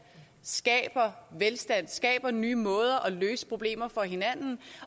skaber velstand skaber nye måder at løse problemer for hinanden